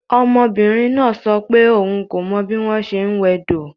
Ọmọbìnrin náà sọ pé òun kò mọ bí wọ́n ṣe ń wẹ̀